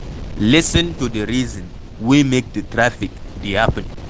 Lis ten to the reason wey make di traffic dey happen